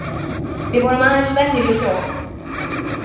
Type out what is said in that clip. Við vorum aðeins venjuleg hjón.